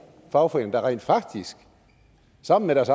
fagforeninger der rent faktisk sammen med deres